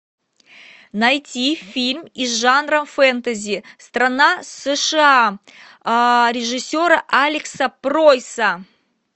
найти фильм из жанра фэнтези страна сша режиссера алекса пройаса